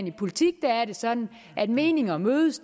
i politik er det sådan at meninger mødes